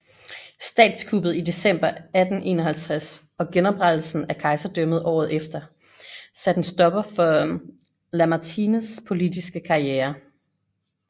Statskuppet i december 1851 og genoprettelsen af kejserdømmet året efter satte en stopper for Lamartines politiske karriere